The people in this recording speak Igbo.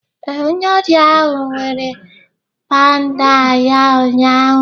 Ee, onye ọrịa ahụ were pandal ya ụnyaahụ